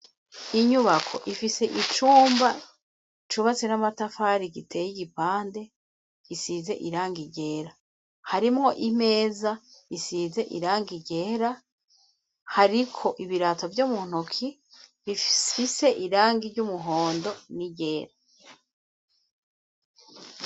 Inyubako ifise icumba cubatse n'amatafari giteye igipande gisize irangi ryera, harimwo imeza isize irangi ryera hariko ibirato vyo mu ntoke bifise irangi ry'umuhondo n'iryera.